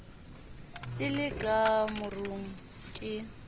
le le ka marung ke